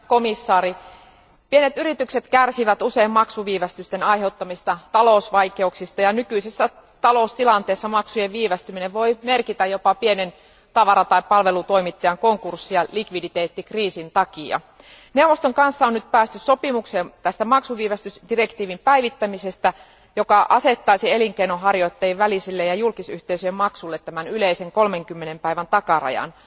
Arvoisa puhemies, arvoisa komission jäsen, pienet yritykset kärsivät usein maksuviivästysten aiheuttamista talousvaikeuksista ja nykyisessä taloustilanteessa maksujen viivästyminen voi merkitä jopa pienen tavara tai palvelutoimittajan konkurssia likviditeettikriisin takia. Neuvoston kanssa on nyt päästy sopimukseen maksuviivästysdirektiivin päivittämisestä, joka asettaisi elinkeinonharjoittajien välisille ja julkisyhteisöjen maksuille yleisen 30 päivän takarajan.